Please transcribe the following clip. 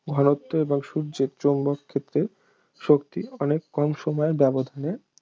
ঘনত্ব এবং সূর্যের চৌম্বক ক্ষেত্রের শক্তি অনেক কম সময়ের ব্যবধানে